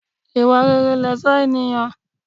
Ìwà rere lẹ̀ṣọ́ ènìyàn.